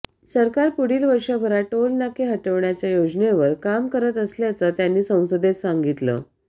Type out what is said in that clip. सरकार पुढील वर्षभरात टोलनाके हटवण्याच्या योजनेवर काम करत असल्याचं त्यांनी संसदेत सांगितलं